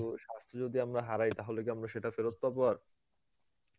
কিন্তু স্বাস্থ্য যদি আমরা হারাই তাহলে কি আমরা সেটা ফেরৎ পাবো আর?